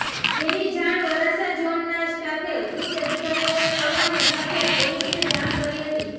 જેની જાણ વરાછા ઝોનના સ્ટાફે ઉચ્ચ અધિકારીઓને કરવાની સાથે પોલીસને જાણ કરી હતી